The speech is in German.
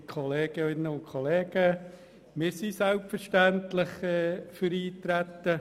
Wir sind selbstverständlich für das Eintreten.